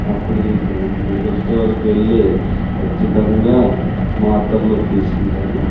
అప్పుడు నేను medical store కి వెళ్లి కచ్చితంగా తీసుకుంటాను.